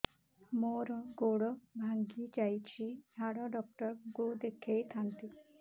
ମୋର ଗୋଡ ଭାଙ୍ଗି ଯାଇଛି ହାଡ ଡକ୍ଟର ଙ୍କୁ ଦେଖେଇ ଥାନ୍ତି